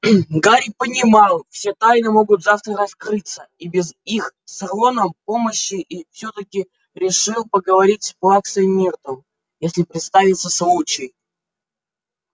гарри понимал все тайны могут завтра раскрыться и без их с роном помощи и всё-таки решил поговорить с плаксой миртл если представится случай